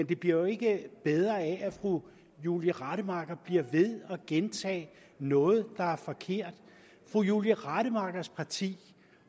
det bliver jo ikke bedre af at fru julie rademacher bliver ved at gentage noget der er forkert fru julie rademachers parti